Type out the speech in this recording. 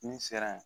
Ni sera yen